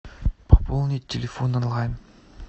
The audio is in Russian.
пополнить телефон онлайн